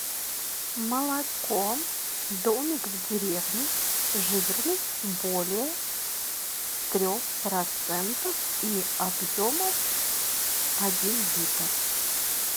молоко домик в деревне жирность более трех процентов и объемом один литр